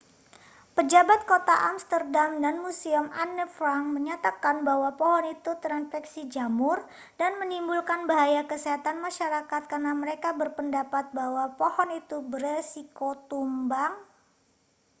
pejabat kota amsterdam dan museum anne frank menyatakan bahwa pohon itu terinfeksi jamur dan menimbulkan bahaya kesehatan masyarakat karena mereka berpendapat bahwa pohon itu berisiko tumbang